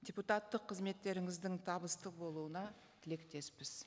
депутаттық қызметтеріңіздің табысты болуына тілектеспіз